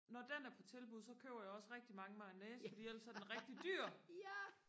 når den er på tilbud så køber jeg også rigtig mange mayonnaise fordi ellers så er den rigtig dyr